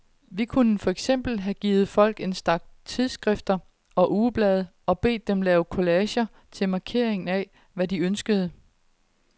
Vi kunne for eksempel have givet folk en stak tidsskrifter og ugeblade og bedt dem lave collager til markering af, hvad de ønskede.